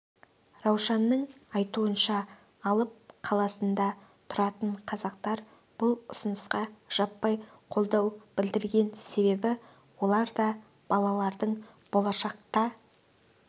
раушанның айтуынша алып қаласында тұратын қазақтар бұл ұсынысқа жаппай қолдау білдірген себебі олар да балалардың болашақта